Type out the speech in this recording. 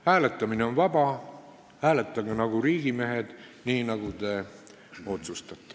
Hääletamine on vaba: hääletage nagu riigimehed – nii, nagu te otsustate.